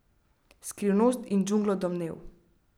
Skrivnost in džunglo domnev.